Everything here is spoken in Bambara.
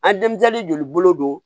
A denmisɛnnin joli bolo don